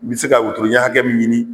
N bɛ se ka wotoro ɲan hakɛ min ɲini